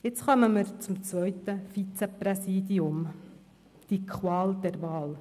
Jetzt kommen wir zum zweiten Vizepräsidium – die Qual der Wahl.